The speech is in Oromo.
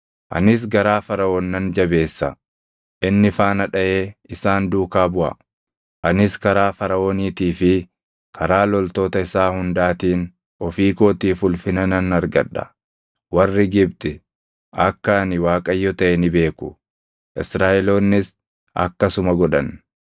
Anis garaa Faraʼoon nan jabeessa; inni faana dhaʼee isaan duukaa buʼa. Anis karaa Faraʼooniitii fi karaa loltoota isaa hundaatiin ofii kootiif ulfina nan argadha; warri Gibxi akka ani Waaqayyo taʼe ni beeku.” Israaʼeloonnis akkasuma godhan.